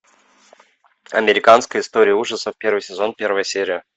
американская история ужасов первый сезон первая серия